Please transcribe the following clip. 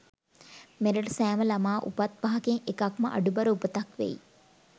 මෙරට සෑම ළමා උපත් පහකින් එකක්ම අඩුබර උපතක් වෙයි.